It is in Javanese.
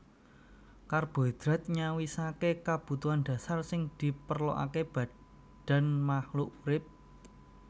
Karbohidrat nyawisaké kabutuhan dasar sing diperlokaké badan makluk urip